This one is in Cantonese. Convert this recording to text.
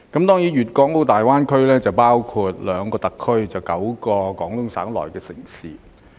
大灣區包括兩個特區及9個廣東省城市。